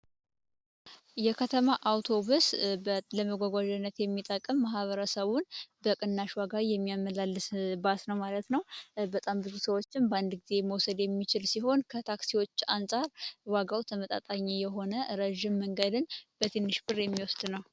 የከተማ አውቶቡስ ለመጓጓዣነት የሚጠቅም ማኅበረሰቡን በቅናሽ ዋጋ የሚያመላልስ ባስ ነው ማለት ነው። በጣም ብዙ ሰዎችን በአንድ ጊዜ መውሰድ የሚችል ሲሆን፤ ከታክሲዎች አንፃር ዋጋው ተመጣጣኝ የሆነ ረዥም መንገድን በትንሽ ብር የሚወስድ ነው።